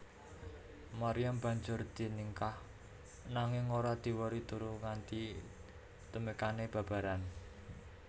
Maryam banjur diningkah nanging ora diwori turu nganti tumekané babaran